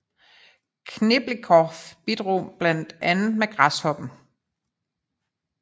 Khlebnikov bidrog med blandt andet Græshoppen